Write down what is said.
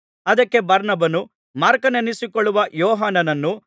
ಅದಕ್ಕೆ ಬಾರ್ನಬನು ಮಾರ್ಕನೆನಿಸಿಕೊಳ್ಳುವ ಯೋಹಾನನನ್ನು